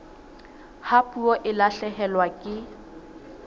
ha puo e lahlehelwa ke